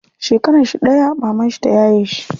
Shekaranshi ɗaya mamanshi ta yaye shi.